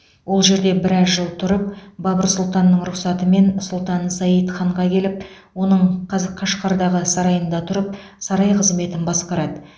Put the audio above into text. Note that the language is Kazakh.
ол жерде біраз жыл тұрып бабыр сұлтанның рұқсатымен сұлтан саид ханға келіп оның қаз қашқардағы сарайында тұрып сарай қызметін басқарады